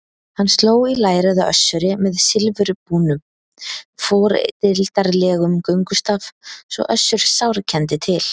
Hann sló í lærið á Össuri með silfurbúnum, fordildarlegum göngustaf svo Össur sárkenndi til.